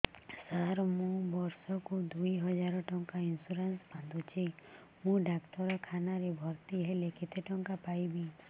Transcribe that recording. ସାର ମୁ ବର୍ଷ କୁ ଦୁଇ ହଜାର ଟଙ୍କା ଇନ୍ସୁରେନ୍ସ ବାନ୍ଧୁଛି ମୁ ଡାକ୍ତରଖାନା ରେ ଭର୍ତ୍ତିହେଲେ କେତେଟଙ୍କା ପାଇବି